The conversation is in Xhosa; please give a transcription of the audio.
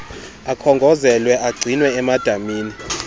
akhongozelwa agcinwe emadamini